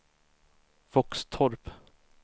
Våxtorp